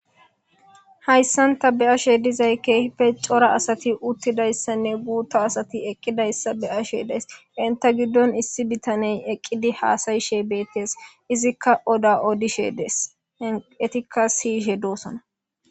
hayssanta be ashe dizay keehife cora asati uttidayssanne guutta asati eqqidayssa be ashe dees inta giddon issi bitaney eqqidi haasayishe beettees izikka oda odishe dees etikka siyishe doosona